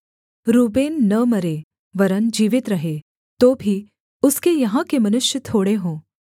Reuben न मरे वरन् जीवित रहे तो भी उसके यहाँ के मनुष्य थोड़े हों